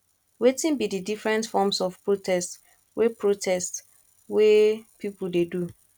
wetin be di different forms of protest way protest way people dey do